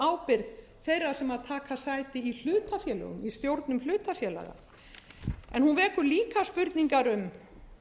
ábyrgð þeirra sem taka sæti í hlutafélögum í stjórnum hlutafélaga en hún vekur líka spurningar um